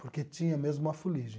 porque tinha mesmo uma fuligem.